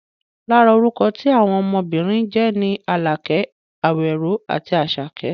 Lára orúkọ tí àwọn ọmọbìnrin ń jẹ́ ni Àlàkẹ́, Àwẹ̀ró àti Àṣàkẹ́